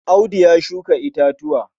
Audu ya shuka itatuwa.